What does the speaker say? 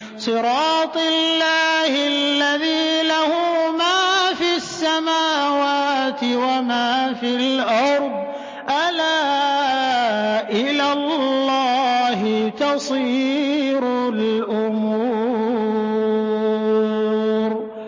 صِرَاطِ اللَّهِ الَّذِي لَهُ مَا فِي السَّمَاوَاتِ وَمَا فِي الْأَرْضِ ۗ أَلَا إِلَى اللَّهِ تَصِيرُ الْأُمُورُ